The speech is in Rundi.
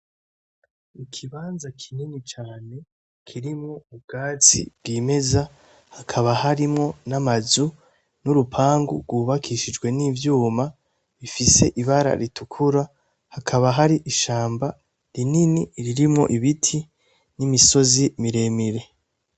Ikibanza kinini cane kirimwo ubwatsi bwimeza hakaba harimwo n'amazu n'urupangu rwubakishijwe n'ivyuma bifise ibara ritukura hakaba hari ishamba rinini ririmwo ibiti n'imisozi miremire.